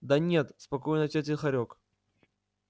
да нет спокойно ответил хорёк